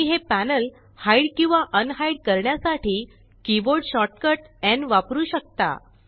तुम्ही हे panel hide किंवा अनहाइड करण्यासाठी कीबोर्ड शॉर्टकट Nवापरू शकता